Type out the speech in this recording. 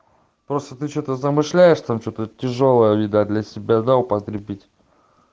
просто ты что-то замышляешь там что-то тяжёлое видать для себя да употребить